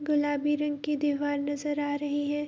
गुलाबी रंग की दीवार नजर आ रही है।